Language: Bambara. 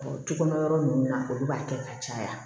tukɔnɔ yɔrɔ ninnu na olu b'a kɛ ka caya